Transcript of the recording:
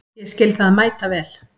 Ég skil það mæta vel.